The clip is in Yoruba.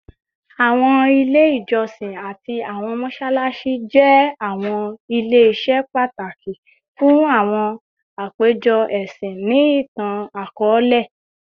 Awọn ile ijọsin ati awọn mọṣalaṣi jẹ awọn ile-iṣẹ pataki fun awọn apejọ ẹsin ni itan-akọọlẹ